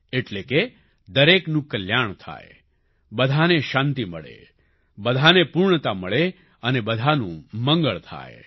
એટલે કે દરેકનું કલ્યાણ થાય બધાને શાંતિ મળે બધાને પૂર્ણતા મળે અને બધાનું મંગળ થાય